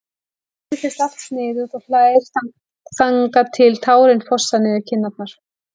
Henni finnst allt sniðugt og hlær þangað til tárin fossa niður kinnarnar.